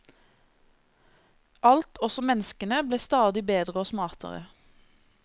Alt, også menneskene, ble stadig bedre og smartere.